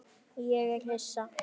Ég er hissa.